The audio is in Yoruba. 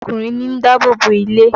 Ọkùnrin ní ń dáàbò bo ilé.